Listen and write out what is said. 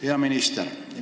Hea minister!